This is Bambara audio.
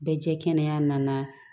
Bɛɛ jɛ kɛnɛ nana